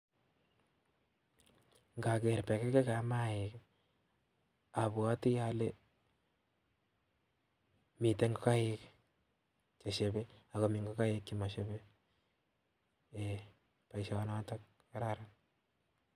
Ng'oker bekekikab maiik abwotii olee miten ng'okaik chesiebe ak komii chemosiebe eng' boishoniton kararan.